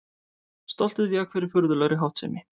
Stoltið vék fyrir furðulegri háttsemi.